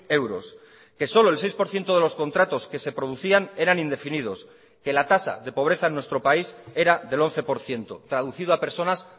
euros que solo el seis por ciento de los contratos que se producían eran indefinidos que la tasa de pobreza en nuestro país era del once por ciento traducido a personas